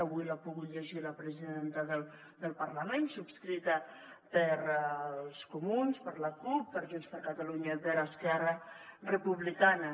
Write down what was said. avui l’ha pogut llegir la presidenta del parlament subscrita pels comuns per la cup per junts per catalunya i per esquerra republicana